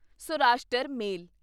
Saurashtra ਮੇਲ